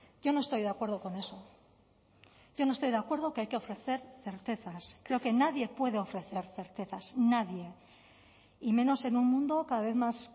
yo no estoy de acuerdo con eso yo no estoy de acuerdo que hay que ofrecer certezas creo que nadie puede ofrecer certezas nadie y menos en un mundo cada vez más